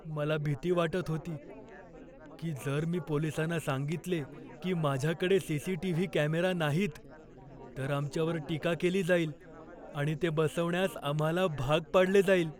मला भीती वाटत होती की जर मी पोलिसांना सांगितले की माझ्याकडे सी.सी.टी.व्ही. कॅमेरा नाहीत तर आमच्यावर टीका केली जाईल आणि ते बसवण्यास आम्हाला भाग पाडले जाईल.